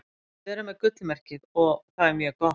Við erum með gullmerkið. og það er mjög gott.